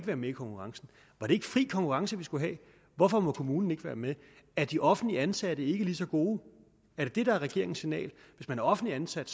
være med i konkurrencen var det ikke fri konkurrence vi skulle have hvorfor må kommunen ikke være med er de offentligt ansatte ikke lige så gode er det det der er regeringens signal at hvis man er offentligt ansat